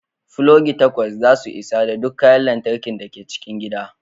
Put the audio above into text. Pulogi takwas za su isa ga duk kayan lantarki da ke cikin gida